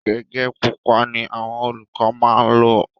Gẹ̀gẹ́ pupa ni àwọn olùkọ maá ńlò